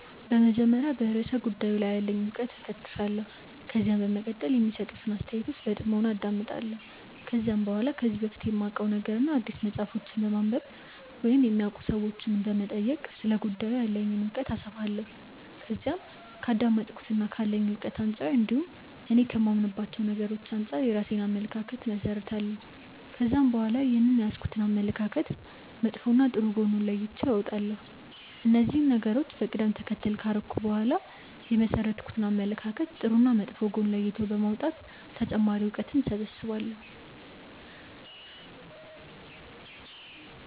በመጀመሪያ በርእሰ ጉዳዩ ላይ ያለኝን እውቀት እፈትሻለሁ። ከዛም በመቀጠል የሚሰጡትን አስተያየቶች በጥሞና አዳምጣለሁ። ከዛም በኋላ ከዚህ በፊት ከማውቀው ነገርና አዲስ መጽሐፎችን በማንበብ ወይም የሚያውቁ ሰዎችንም በመጠየቅ ስለ ጉዳዩ ያለኝን እውቀት አሰፋለሁ። ከዛም ከአዳመጥኩትና ካለኝ እውቀት አንጻር እንዲሁም እኔ ከማምንባቸው ነገሮች አንጻር የራሴን አመለካከት እመሠረታለሁ። ከዛም በኋላ ይህንን የያዝኩትን አመለካከት መጥፎና ጥሩ ጎን ለይቼ አወጣለሁ። እነዚህን ነገሮች በቀደም ተከተል ካደረኩ በኋላ የመሠረትኩትን አመለካከት ጥሩና መጥፎ ጎን ለይቶ በማውጣት ተጨማሪ እውቀትን እሰበስባለሁ።